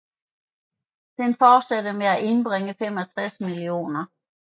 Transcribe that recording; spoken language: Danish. Den fortsatte med at indbringe 65 mio